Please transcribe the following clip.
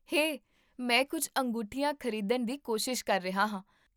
ਹੇ, ਮੈਂ ਕੁੱਝ ਅੰਗੂਠੀਆਂ ਖ਼ਰੀਦਣ ਦੀ ਕੋਸ਼ਿਸ਼ ਕਰ ਰਿਹਾ ਹਾਂ